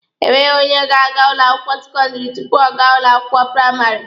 Enweghị onye ga-aga ụlọ akwụkwọ sekọndịrị tupu ọ gaa ụlọ akwụkwọ praịmarị.